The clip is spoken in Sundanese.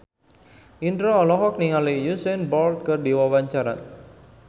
Indro olohok ningali Usain Bolt keur diwawancara